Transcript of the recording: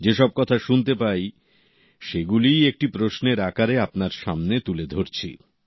যেসব কথা শুনতে পাই সেগুলোই একটি প্রশ্নের আকারে আপনার সামনে তুলে ধরছি